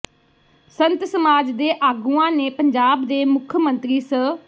ਸੰਤ ਸਮਾਜ ਦੇ ਆਗੂਆਂ ਨੇ ਪੰਜਾਬ ਦੇ ਮੁੱਖ ਮੰਤਰੀ ਸ